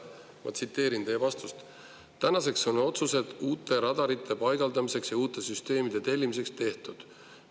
Ma tsiteerin teie vastust: "Tänaseks on otsused uute radarite paigaldamiseks ja uute süsteemide tellimiseks tehtud.